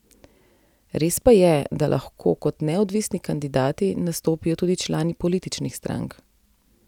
Res pa je, da lahko kot neodvisni kandidati nastopijo tudi člani političnih strank.